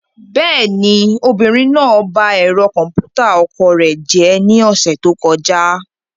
Bẹ́ẹ̀ni, obìnrin náà ba ẹ̀rọ kọ̀m̀pútà ọkọ rẹ̀ jẹ́ ní ọ̀sẹ̀ tó kọjá.